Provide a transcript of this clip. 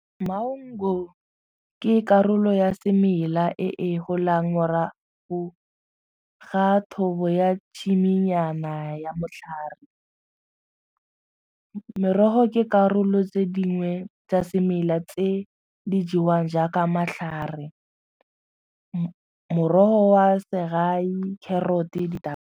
Maungo ke karolo ya semela e e golang morago ga thobo ya tshimonyana ya motlhare. Merogo ke karolo tse dingwe tsa semela tse di jewang jaaka matlhare morogo wa segai, carrot-e .